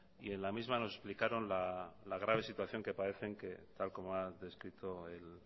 y en la misma nos explicaron la grave situación que padecen tal como ha descrito el